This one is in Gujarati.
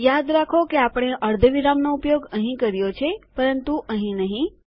યાદ રાખો કે આપણે અર્ધવિરામનો ઉપયોગ અહીં કર્યો છે પરંતુ અહીં નહીં